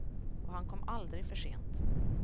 Och han kom aldrig för sent.